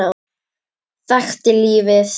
Þekkti lífið.